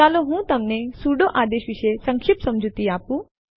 ચાલો હું તમને સુડો આદેશ વિશે સંક્ષિપ્ત સમજૂતી આપું